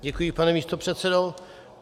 Děkuji, pane místopředsedo.